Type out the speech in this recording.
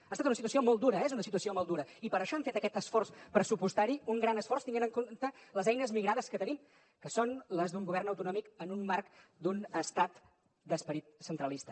ha estat una situació molt dura és una situació molt dura i per això hem fet aquest esforç pressupostari un gran esforç tenint en compte les eines migrades que tenim que són les d’un govern autonòmic en un marc d’un estat d’esperit centralista